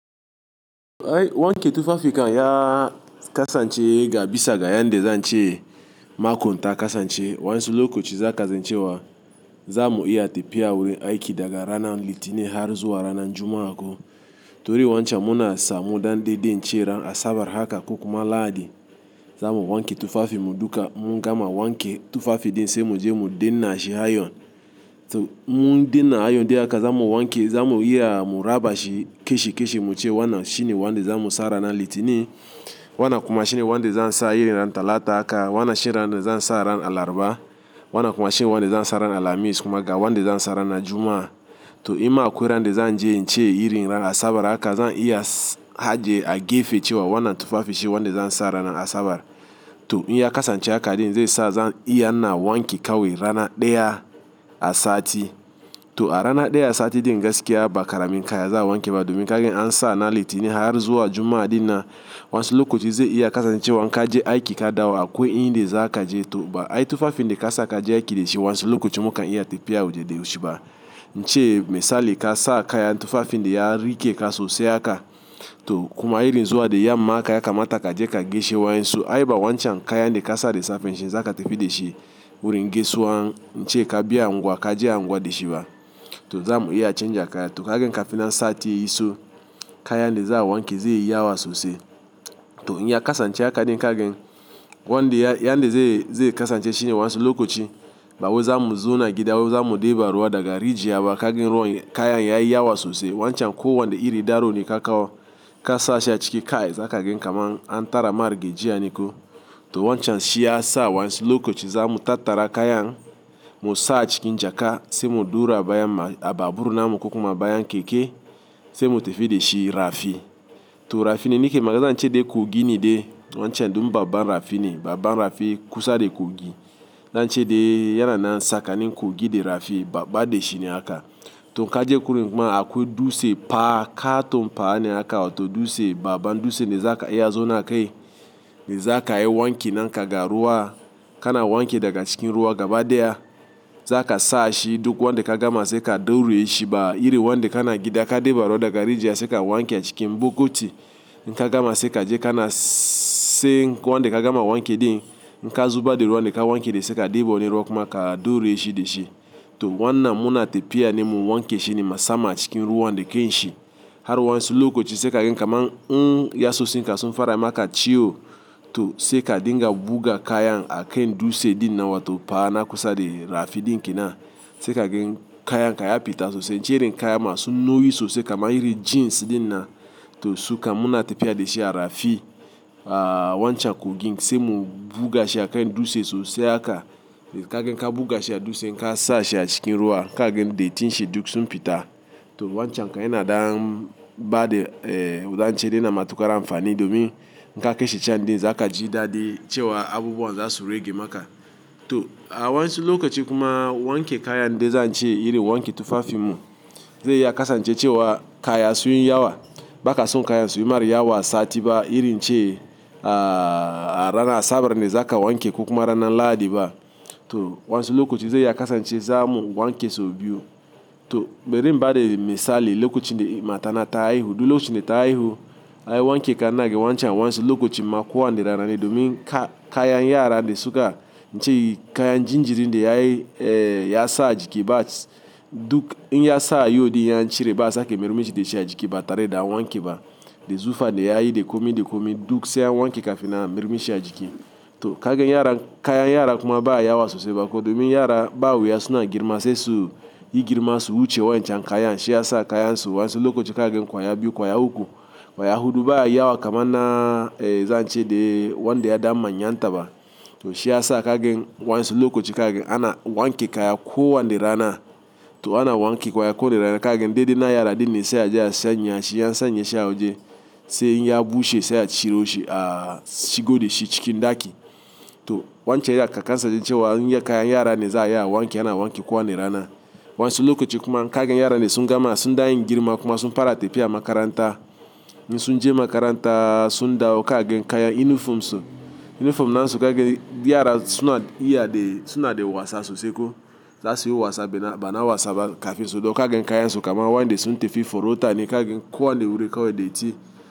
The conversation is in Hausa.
Ai wanke tufafi kan ya kasance ga bisa ga yanda zan ce makonta kasance. Wa'yansu lokoci zaka zan cewa zamu iya tafiya wuri aiki daga ranan litinin har zuwa ranan Juma'a ko. To ri wancan mu na sa mu da nda de ince ran Asabar haka ko kuma Lahadi zamu wanke tufafi mu duka mu gama wanke tufafi de sai mu je mu dina shi ayon. To mu dina ayon de haka zamu wanke zamu iya mu raba shi keshi keshi mu ce wannan shini wanda zamu sa rana litini, wannan kuma shini wanda zan sa irin rana Talata haka, wannan shi ranan zan sa ranan Alaraba, wannan kuma shi wanda zan sa ranan Alhamis kuma ga wanda zan sa rana Juma'a. To imma akwai ran de zan je in ce irin ran Asabar haka zan iya haje a gefe cewa wannan tufafi shi wanda zan sa ranan Asabar. To in ya kasance haka din zai sa zan iya na wanke kawai rana daya a sati. To a rana daya a sati din gaskiya ba karamin kaya za a wanke ba domin kagan an sa na litini har zuwa Juma'a dinan wansi lokoci zai iya kasance wa kaje aiki ka dawo akwai in de za ka je to ba ai tufafin de ka sa ka je aiki da shi wansi lokoci mu kan iya tafiya waje de shi ba. Ince misali ka sa kaya tufafin de ya rike ka sosai haka to kuma irin zuwa de ya mamaka ya kamata ka je ka geshe wa yin su ai ba wancan kayan de ka sa de safe shin za ka tafi da shi wurin gesuwan nce ka biya angwa ka je angwa da shi ba. To ima akwai ran de zan je nce irin ran Asabar haka zan iya haje a gefe cewa wannan tufafi shi wanda zan sa ranan Asabar. To in ya kasance haka din zai sa zan iya na wanke kawai rana daya a sati. Wanda yanda zai, zai kasance shine wansi lokoci bawo zamu zu na gida zamu deba ruwa daga riji yaba kagen ruwa kayan ya yi yawa sosai wancan ko wanda iri daro ne ka kawo ka sa shi a ciki kai zakagen kaman an tara mar gejiya ni ko. To wancan shi ya sa wansi lokoci zamu tattara kayan mu sa a cikin jaka sai mu duru a bayan a babbur namu ko kuma bayan keke sai mu tafi da shi rafi. To rafin da nike maga zan ce de kogi ne de wancan din babban rafi ne, babban rafi kusa da kogi zan ce de yana na saka nin kogi de rafi babba de shi ne haka. To kaje wurin kuma akwai dutse pa kato pa ne haka to dutse baban dutse ne za ka iya zuwa na kai ne za ka yi wanki nan kaga ruwa kana wanke daga cikin ruwa gaba daya. Za ka sa shi duk wanda ka gama sai ka daure shi ba iri wanda kana gida ka deba ruwa daga rijiya sai ka wanke a cikin bukuti. In ka gama sai kaje kana sai wanda ka gama wanke din, in ka zuba da ruwa wanda ka wanke de sai ka deba wani ruwa kuma ka daure shi da shi. To wannan mu na tafiya nimu wanke shi ne ma sama cikin ruwan de ke shi. Har wansi lokoci sai kagen kaman in ya sosi nka sun fara maka ciwo to sai ka dinga buga kayan a kan dutse din nawa to pa na kusa de rafi din kina. Sai kagen kayan ka ya fita sosai ince irin kayan masu nauyi sosai kamar irin jeans din na to suka mu na tafiya da shi a rafi a wancan kogin sai mu buga shi a kain dutse sosai haka. Kagen ka buga shi a dutse inka sa shi a cikin ruwa kagen de itin shi duk sun fita. To wancan kayan na dam ba de eh wa zance de yana matuƙar amfani domin inka ke shi can din za ka ji daɗi cewa abubuwan za su rage maka. To a wansi lokaci kuma wanke kayan de zan ce irin wanke tufafi mu zai iya kasance cewa kaya sun yi yawa. Ba ka son kaya sun yi mara yawa a sati ba irin ce a rana Asabar ne za ka wanke kukuma rana Lahadi ba. To wansi lokoci zai iya kasance zamu wanke sau biyu. To bari in ba de misali lokoci de matana ta haihu duk lokacin de ta haihu ai wanke kan na ga wancan wansi lokoci makowan de rana ne domin ka kayan yara de suka nce kayan jinjirin de ya yi eh ya sa a jiki ba s duk in ya sa yodi yan cire bats ake mirmichi de shi a jiki batare da wanke ba. Da zufa de ya yi de komi de komi duk sai a wanke kafin nan mayar mi shi a jiki. To kagen yaran kayan yara kuma ba a yi yawa sosai ba ko domin yara ba waya suna girma sai su yi girma su wuce wancan kayan shi ya sa kayan su wansi lokoci kagen kwaya biyu kwaya uku kwaya hudu ba yawa kaman na zan ce de wanda ya dan mayan ta ba to shi ya sa kagen wansi lokoci kagen ana wanke kaya ko wanne rana. To ana wanke kwaya kowa ne rana kagen de din yara din ne sai a je a sanya shi an sanya shi a waje. Sai in ya bushe sai a ciro shi a shigo da shi cikin daki. To wancan ya aka kasance cewa in ya kayan yara ne za a yi wanke ana wanke kowa ne rana. Wansi lokoci kuma kagen yara ne sun gama suna yin girma kuma sun fara tafiya makaranta. In sun je makaranta sun dawo kagen kayan inifom su inifom na su kagen yara suna iya de suna de wasa sosai ko. Za suyi wasa bina bana wasa ba kafin dau kagan kayansu kaman wanda suntafi porota ne kagan ko wanne wuri kawai datti.